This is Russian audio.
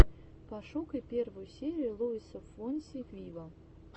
пошукай первую серию луиса фонси виво